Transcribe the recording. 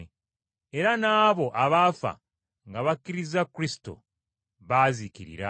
Era n’abo abaafa nga bakkiriza Kristo baazikirira.